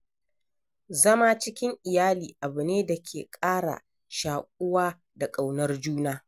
Zama cikin iyali abu ne da ke ƙara shaƙuwa da ƙaunar juna.